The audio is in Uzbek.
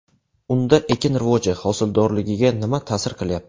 Unda ekin rivoji, hosildorligiga nima ta’sir qilyapti?